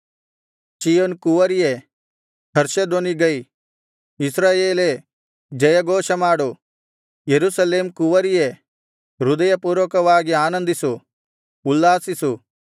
ಚೀಯೋನ್ ಕುವರಿಯೇ ಹರ್ಷಧ್ವನಿಗೈ ಇಸ್ರಾಯೇಲೇ ಜಯಘೋಷಮಾಡು ಯೆರೂಸಲೇಮ್ ಕುವರಿಯೇ ಹೃದಯಪೂರ್ವಕವಾಗಿ ಆನಂದಿಸು ಉಲ್ಲಾಸಿಸು